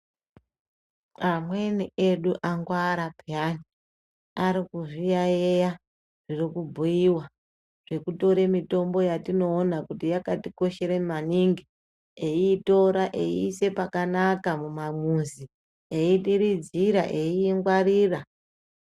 Amweni edu angwara peyani ari kuzviyayeya zvikubhuyiwa zvekutore mitombo yatinoona kuti yakatikoshere maningi eyitore eyise pakanaka mumamuzi eyidiridzire eyiyingwarira.